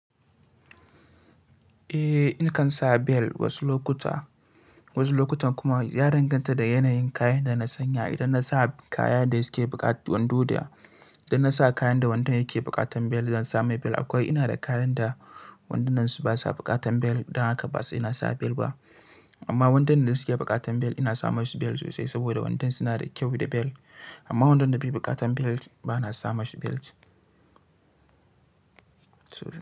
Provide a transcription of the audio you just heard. Eh, nakan sa bel wasu lokuta, wasu lokutan kuma ya danganta da yanayin kayan da na sanya. Idan na sa kaya da suke buƙatar wando da idan na sa kayan da wandun yake buƙatar bel zan sa mai bel. Akwai ina da kayan da wandunan su basa buƙatar bel, don haka ba sai na sa bel ba. Amma wandunan da suke buƙatar bel ina sa masu bel sosai saboda wandon suna da kyau da bel. Amma wandon da bai buƙatar bel ba na sama su bel.